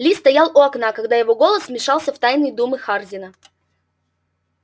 ли стоял у окна когда его голос вмешался в тайные думы хардина